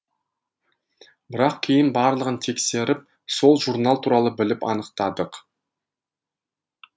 бірақ кейін барлығын тексеріп сол журнал туралы біліп анықтадық